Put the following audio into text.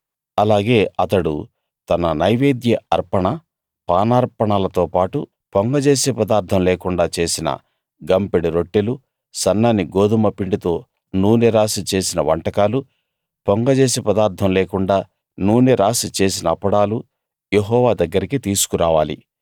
అలాగే అతడు తన నైవేద్య అర్పణ పానార్పణలతో పాటు పొంగజేసే పదార్ధం లేకుండా చేసిన గంపెడు రొట్టెలూ సన్నని గోదుమ పిండితో నూనె రాసి చేసిన వంటకాలూ పొంగజేసే పదార్ధం లేకుండా నూనె రాసి చేసిన అప్పడాలూ యెహోవా దగ్గరకి తీసుకురావాలి